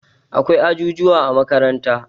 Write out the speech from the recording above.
akwai ajujuwa a makaranta